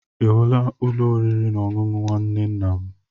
Ihula Ụlọ oriri na ọṅụṅụ nwanne ńnà m.